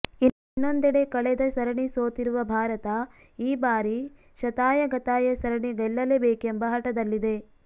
ಇನ್ನೊಂದೆಡೆ ಕಳೆದ ಸರಣಿ ಸೋತಿರುವ ಭಾರತ ಈ ಬಾರಿ ಶತಾಯಗತಾಯ ಸರಣಿ ಗೆಲ್ಲಲೇ ಬೇಕೆಂಬ ಹಠದಲ್ಲಿದೆ